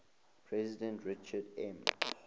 president richard m